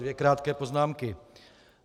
Dvě krátké poznámky.